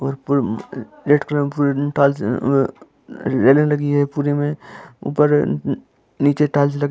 ऊपर नीचे टाइल्स लगी--